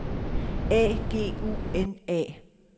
A G U N A